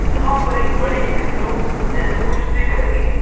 यहां पर एक बड़ी विंडो जैसे कुछ दिख रही है।